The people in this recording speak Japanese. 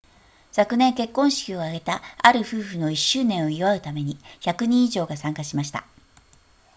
昨年結婚式を挙げたある夫婦の1周年を祝うために100人以上が参加しました